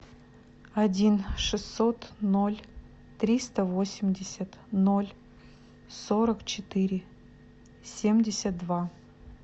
один шестьсот ноль триста восемьдесят ноль сорок четыре семьдесят два